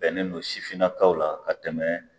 Bɛnnen don sifinnakaw la ka tɛmɛ